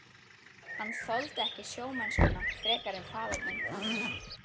Hann þoldi ekki sjómennskuna frekar en faðir minn.